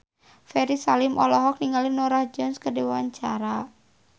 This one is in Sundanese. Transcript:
Ferry Salim olohok ningali Norah Jones keur diwawancara